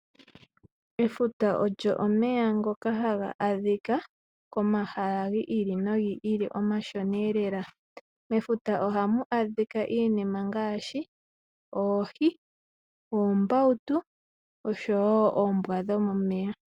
Efuta olyo omeya ngoka haga adhika komahala gi ili nogi ili omashona lela. Mefuta ohamu adhika iinima ngaashi oohi, oombautu oshowo oombwa dhomomeya.